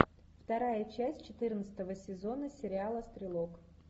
вторая часть четырнадцатого сезона сериала стрелок